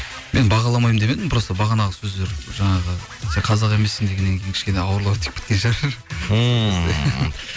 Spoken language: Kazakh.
мен бағаламаймын демедім просто бағанағы сөздер жаңағы сен қазақ емессің дегеннен кейін кішкене ауырлау тиіп кеткен шығар ммм